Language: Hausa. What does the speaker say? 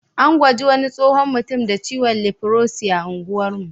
An gwaji wani tsohon mutum da ciwon lifrosi a unguwar mu.